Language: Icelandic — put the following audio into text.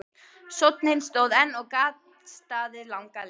Sónninn stóð enn og gat staðið langa lengi.